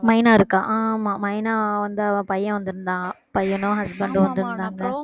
மைனா இருக்கா ஆமாம் மைனா வந்து அவன் பையன் வந்திருந்தான் பையனும் husband உம் வந்திருந்தாங்க